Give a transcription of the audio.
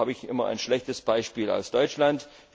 Da habe ich immer ein schlechtes Beispiel aus Deutschland.